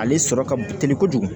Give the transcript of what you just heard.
Ale sɔrɔ ka teli kojugu